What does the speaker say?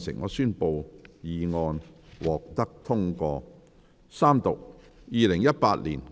我宣布議案獲得通過。